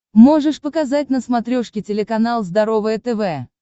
можешь показать на смотрешке телеканал здоровое тв